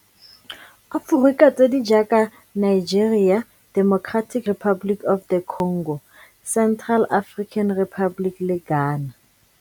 Aforika tse di jaaka Nigeria, Democratic Republic of the Congo, Central African Republic le Ghana.